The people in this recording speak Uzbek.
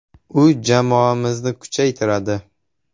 U jamoamizni kuchaytiradi.